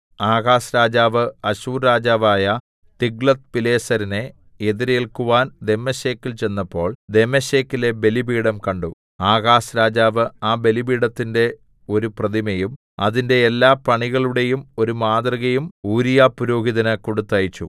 Ahaz രാജാവ് Asshur രാജാവായ തിഗ്ലത്ത്പിലേസരിനെ എതിരേൽക്കുവാൻ ദമ്മേശെക്കിൽ ചെന്നപ്പോൾ ദമ്മേശെക്കിലെ ബലിപീഠം കണ്ടു ആഹാസ് രാജാവ് ആ ബലിപീഠത്തിന്റെ ഒരു പ്രതിമയും അതിന്റെ എല്ലാപണികളുടെയും ഒരു മാതൃകയും ഊരീയാപുരോഹിതന് കൊടുത്തയച്ചു